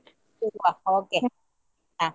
ಇಡುವ okay , ಹಾ.